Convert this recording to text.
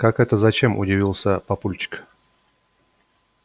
как это зачем удивился папульчик